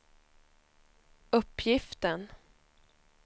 uppgiften